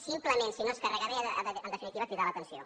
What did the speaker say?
simplement si no es carrega bé ha de en definitiva cridar l’atenció